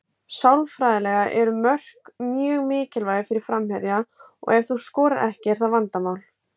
Sálfræðilega eru mörk mjög mikilvæg fyrir framherja og ef þú skorar ekki er það vandamál.